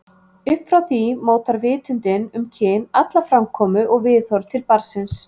Upp frá því mótar vitundin um kyn alla framkomu og viðhorf til barnsins.